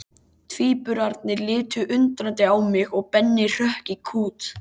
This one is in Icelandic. Tvíburarnir litu undrandi á mig og Benni hrökk í kút.